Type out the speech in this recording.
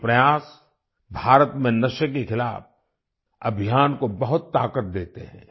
ये प्रयास भारत में नशे के खिलाफ अभियान को बहुत ताकत देते हैं